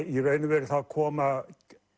í raun og veru koma